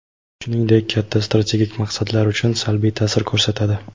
shuningdek katta strategik maqsadlar uchun salbiy taʼsir ko‘rsatadi.